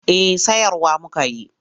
Eh sayarwa muka yi.